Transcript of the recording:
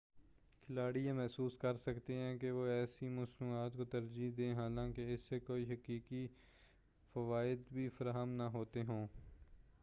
کھلاڑی یہ محسوس کرسکتے ہیں کہ وہ ایسی مصنوعات کو ترجیح دیں حالانکہ اس سے کوئی حقیقی فوائد بھی فراہم نہ ہوتے ہوں